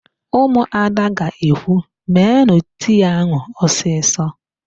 Ụmụada ga-ekwu, "meenụ tii áhụ̀ ọsịsọ"!